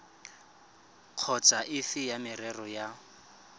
kapa efe ya merero ya